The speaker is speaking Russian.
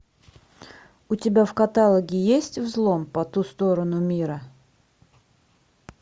у тебя в каталоге есть взлом по ту сторону мира